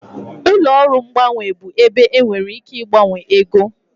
Ụlọ ọrụ mgbanwe bụ ebe ị nwere ike ịgbanwe ego